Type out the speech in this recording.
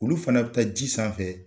Olu fana bɛ taa ji sanfɛ.